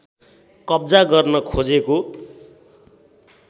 कब्जा गर्न खोजेको